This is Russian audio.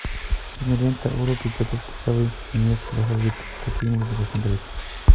кинолента уроки тетушки совы немецкий алфавит какие можно посмотреть